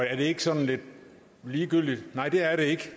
er det ikke sådan lidt ligegyldigt nej det er det ikke